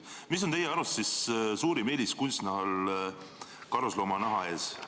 Mis on teie arust suurim eelis kunstnahal karusloomanaha ees?